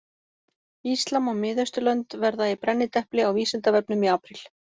Íslam og Mið-Austurlönd verða í brennidepli á Vísindavefnum í apríl.